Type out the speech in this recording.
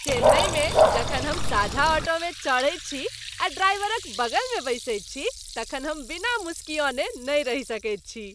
चेन्नईमे जखन हम साझा ऑटोमे चढ़ैत छी आ ड्राइवरक बगलमे बैसैत छी तखन हम बिना मुसुकिआने नहि रहि सकैत छी।